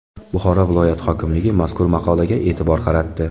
Buxoro viloyat hokimligi mazkur maqolaga e’tibor qaratdi.